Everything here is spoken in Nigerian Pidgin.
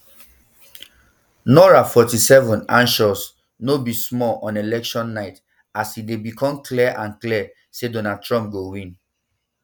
nora forty-seven anxious no be small on election night as e um dey become clear and clear say donald trump go win